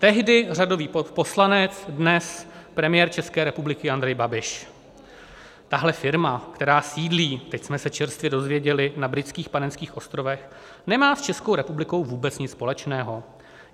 Tehdy řadový poslanec, dnes premiér České republiky Andrej Babiš: Tahle firma, která sídlí - teď jsme se čerstvě dozvěděli - na Britských Panenských ostrovech, nemá s Českou republikou vůbec nic společného.